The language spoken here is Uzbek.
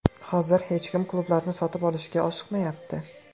Hozir hech kim klublarni sotib olishga oshiqmayapti.